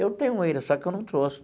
Eu tenho ainda, só que eu não trouxe.